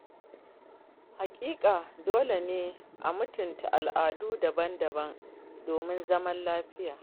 Haƙiƙa Dole ne a mutunta al’adu daban-daban domin zaman lafiya.